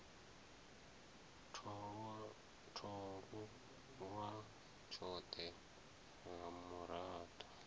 tholwa iwa tshothe ha murado